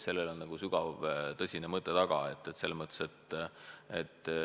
Sellel on sügav tõsine mõte taga.